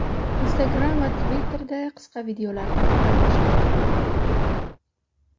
Instagram va Twitter’da qisqa videolar tarqala boshladi.